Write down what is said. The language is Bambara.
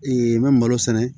n bɛ malo sɛnɛ